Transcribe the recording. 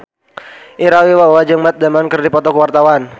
Ira Wibowo jeung Matt Damon keur dipoto ku wartawan